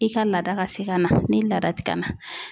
I ka laada ka se ka na ni laada tɛ ka na.